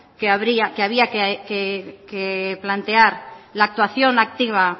que había que plantear la actuación activa